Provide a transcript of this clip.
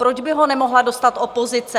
Proč by ho nemohla dostat opozice?